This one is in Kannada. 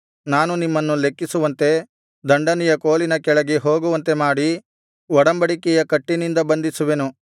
ನಾನು ನಿಮ್ಮನ್ನು ಲೆಕ್ಕಿಸುವಂತೆ ದಂಡನೆಯ ಕೋಲಿನ ಕೆಳಗೆ ಹೋಗುವಂತೆ ಮಾಡಿ ಒಡಂಬಡಿಕೆಯ ಕಟ್ಟಿನಿಂದ ಬಂಧಿಸುವೆನು